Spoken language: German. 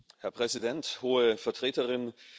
Herr Präsident, Hohe Vertreterin!